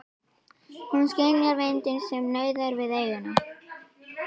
Hún skynjar vindinn sem nauðar við eyjuna.